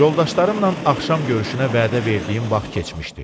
Yoldaşlarımla axşam görüşünə vədə verdiyim vaxt keçmişdi.